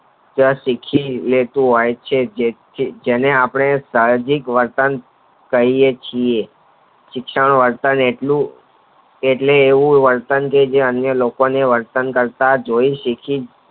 જ તું શીખી લે જેને આપણે સાહસિક વર્તન કરીયે છીએ શિક્ષણ Alternate ની એટલે એવું વર્તન કે જે અન્ય લોકો ને વર્તન કરતા જ જોય શિખી